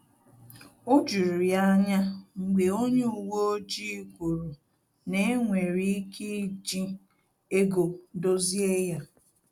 O juru ya anya mgbe onye uwe ojii kwuru na enwere ike iji ego dozie ya